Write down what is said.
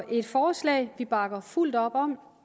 et forslag vi bakker fuldt op om